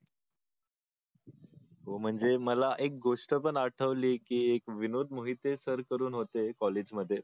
हो म्हणजे मला एक गोष्ट पण आठवली की एक विनोद मोहिते सर करून होते कॉलेजमध्ये